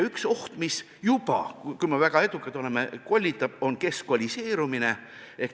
Üks oht, mis juba – kui me väga edukad oleme – kollitab, on keskkoolistumine.